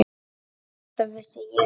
Þetta vissi ég ekki.